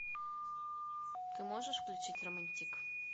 ты можешь включить романтик